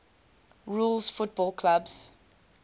rules football clubs